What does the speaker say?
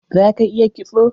Za ka iya kitso?